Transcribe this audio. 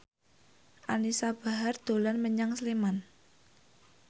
Anisa Bahar dolan menyang Sleman